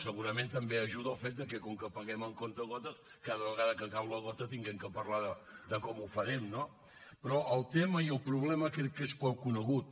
segurament també hi ajuda el fet de que com que paguem amb comptagotes cada vegada que cau la gota hàgim de parlar de com ho farem no però el tema i el problema crec que són prou coneguts